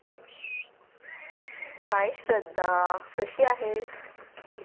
Hi Shraddha कशी आहेस?